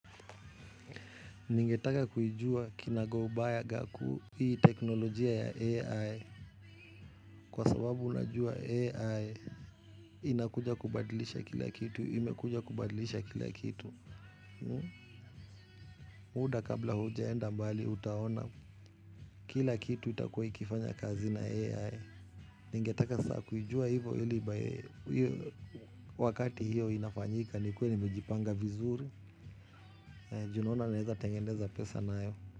Ningetaka kuijua kinagaubaga hii teknolojia ya AI. Kwa sababu unajua AI inakuja kubadilisha kila kitu. Imekuja kubadilisha kila kitu muda kabla hujaenda mbali utaona kila kitu itakuwa ikifanya kazi na AI. Ningetaka kujua hivyo hivyo wakati hivyo inafanyika nikuwe nimejipanga vizuri. Juu naona naweza tengeneza pesa nayo.